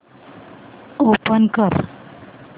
open कर